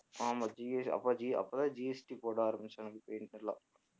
ஆமா G அப்ப G அப்பதான் GST போட ஆரம்பிச்சாங்கன்னு தெரியுமில்ல